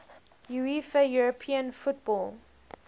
uefa european football